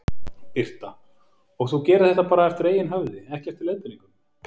Birta: Og þú gerir þetta bara eftir eigin höfði, ekki eftir leiðbeiningum?